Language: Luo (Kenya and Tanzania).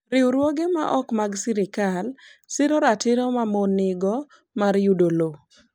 Riwruoge ma ok mag sirkal siro ratiro ma mon nigo mar yudo lowo.